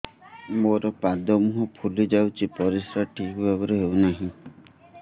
ମୋର ପାଦ ମୁହଁ ଫୁଲି ଯାଉଛି ପରିସ୍ରା ଠିକ୍ ଭାବରେ ହେଉନାହିଁ